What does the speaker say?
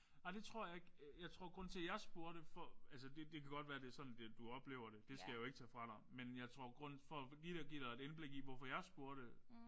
Ej det tror jeg ikke. Jeg tror grunden til at jeg spurgte for altså det det kan godt være det er sådan det du oplever det det skal jeg jo ikke tage fra dig men jeg tror grunden for lige at give dig et indblik i hvorfor jeg spurgte